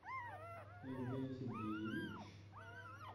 евгений сергеевич